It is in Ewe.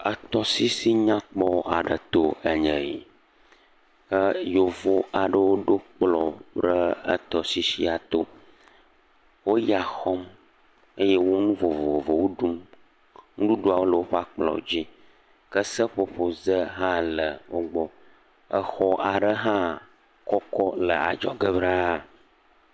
Etɔsisi nyakpɔ aɖe to enye yi. Yevu aɖewo ɖo kplɔ ɖe etɔsisia to. Wo ya xɔm eye wo nu vovovowo ɖum. Nuɖuɖuawo le woƒe akplɔ dzi ke seƒoƒoze aɖewo le wo gbɔ. Exɔ aɖe hã kɔkɔ le adzɔge ɖa.